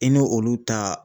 I n' olu ta